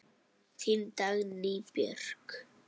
Þín Dagný Björk.